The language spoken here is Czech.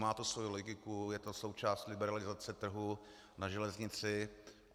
Má to svoji logiku, je to součást liberalizace trhu na železnici.